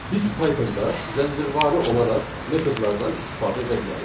Biz Pythonda zəncirvarı olaraq metodlardan istifadə edə bilərik.